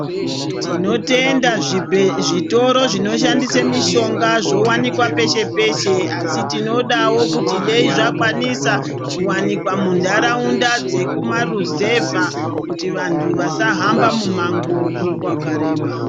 Tinotenda zvibhe..zvitoro zvinoshandise mishonga zvowanikwa peshe peshe asi tinodawo kuti dai zvakwanisa kuwanikwa muntaraunda dzekumaruzevha kuti vantu vasahamba mumango wakareba.